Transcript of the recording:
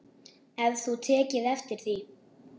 Hefur þú tekið eftir því?